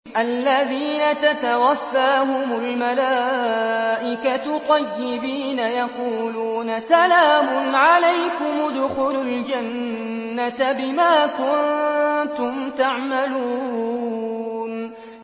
الَّذِينَ تَتَوَفَّاهُمُ الْمَلَائِكَةُ طَيِّبِينَ ۙ يَقُولُونَ سَلَامٌ عَلَيْكُمُ ادْخُلُوا الْجَنَّةَ بِمَا كُنتُمْ تَعْمَلُونَ